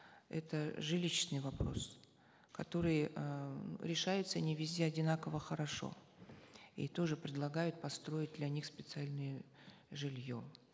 это жилищный вопрос который э решается не везде одинаково хорошо и тоже предлагают построить для них специальное жилье